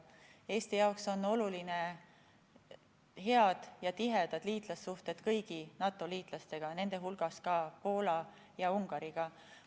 Eesti jaoks on olulised head ja tihedad liitlassuhted kõigi NATO liitlastega, nende hulgas ka Poola ja Ungariga.